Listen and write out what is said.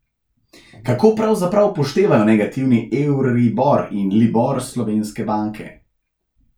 Kako pravzaprav upoštevajo negativni euribor in libor slovenske banke?